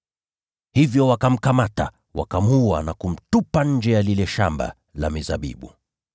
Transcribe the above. Hivyo wakamchukua na kumuua, wakamtupa nje ya lile shamba la mizabibu.